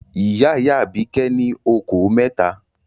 Ìyá-ìyá Àbíkẹ́ ní okòó mẹ́ta.